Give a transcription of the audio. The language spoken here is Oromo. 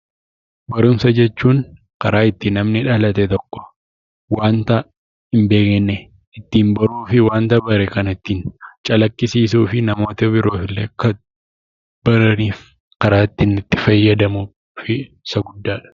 Barumsa jechuun karaa ittiin namni dhalate tokko wanta hin beekne ittiin baruuf wanta bare kana ittiin calaqqisiisuu fi namoota biroon illee akka ittiin baraniif ittiin itti fayyadamuu fi isa guddaa dha.